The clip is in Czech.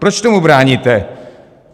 Proč tomu bráníte?